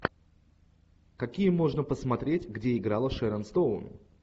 какие можно посмотреть где играла шерон стоун